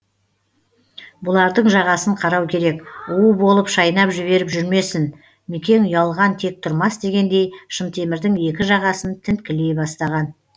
бұлардың жағасын қарау керек уы болып шайнап жіберіп жүрмесін мекең ұялған тек тұрмас дегендей шынтемірдің екі жағасын тінткілей бастаған